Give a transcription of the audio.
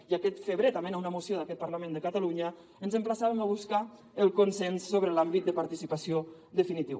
i aquest febrer també amb una moció d’aquest parlament de catalunya ens emplaçàvem a buscar el consens sobre l’àmbit de participació definitiu